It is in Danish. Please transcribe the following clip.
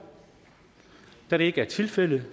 da det ikke er tilfældet